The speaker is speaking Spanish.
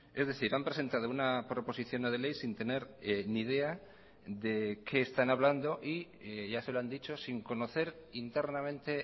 es decir han presentado una proposición no de ley sin tener ni idea de qué están hablando y ya se lo han dicho sin conocer internamente